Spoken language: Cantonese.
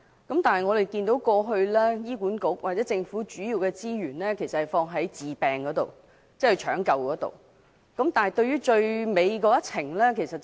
不過，醫管局或政府的資源過去主要投放在治療方面，忽略了病人在人生最後一程的需要。